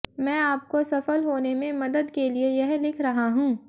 मैं आपको सफल होने में मदद के लिए यह लिख रहा हूं